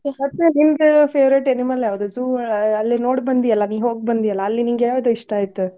ಮತ್ತ್ ನಿಂದ್ favorite animal ಯಾವ್ದ್? zoo ಅ~ ಅಲ್ಲೇ ನೋಡಿ ಬಂದಿ ಅಲಾ ನೀ ಹೋಗ್ಬಂದಿ ಅಲಾ ಅಲ್ಲಿ ನಿಂಗ್ ಯಾವ್ದ್ ಇಷ್ಟಾ ಆಯ್ತು?